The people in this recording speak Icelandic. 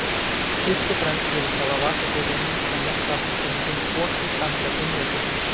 Fyrst og fremst virðist hafa vakað fyrir honum að létta af Íslendingum oki danska einveldisins.